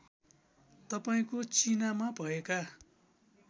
तपाईँको चिनामा भएका